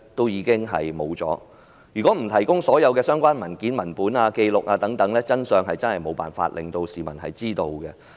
如果不提供所有相關文件、文本、紀錄等，實在無法令市民知道真相。